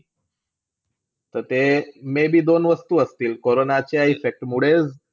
ता ते, may be दोन वस्तू असतील. कोरोना च्या EFFECT मुळे